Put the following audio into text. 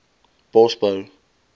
bosbou